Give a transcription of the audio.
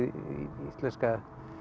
íslenska